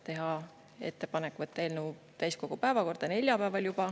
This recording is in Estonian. Teha ettepanek võtta eelnõu täiskogu päevakorda juba neljapäeval.